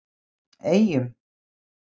Eyjum